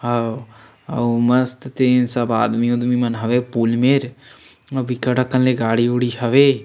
हव अऊ मस्त तीन सब आदमी उदमी मन हवे पूल मेर अऊ बिकट अकन ले गाड़ी उडी हवे।